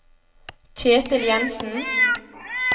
Ketil Jenssen